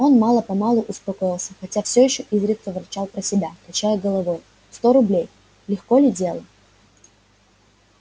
он мало-помалу успокоился хотя все ещё изредка ворчал про себя качая головою сто рублей легко ли дело